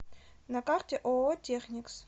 на карте ооо техникс